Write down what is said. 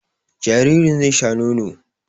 Jaririn zai sha nono